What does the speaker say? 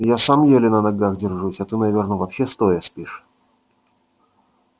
я сам еле на ногах держусь а ты наверное вообще стоя спишь